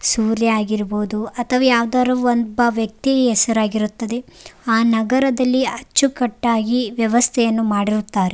ಸೂರ್ಯ ಆಗಿರ್ಬಹುದು ಅಥವಾ ಯಾವ್ದಾರು ಒಬ್ಬ ವ್ಯಕ್ತಿ ಹೆಸ್ರಾಗಿರುತ್ತದೆ ಆ ನಗರದಲ್ಲಿ ಅಚ್ಚುಕಟ್ಟಾಗಿ ವ್ಯವಸ್ಥೆಯನ್ನು ಮಾಡಿರುತ್ತಾರೆ.